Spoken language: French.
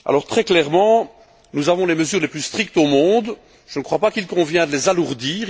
Très clairement, nous avons les mesures les plus strictes au monde. Je ne crois pas qu'il convienne de les alourdir.